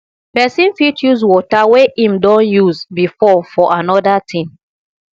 person fit use water wey im don use before for anoda thing